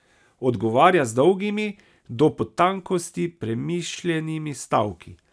Odgovarja z dolgimi, do potankosti premišljenimi stavki.